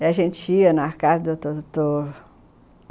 E a gente ia na casa do doutor.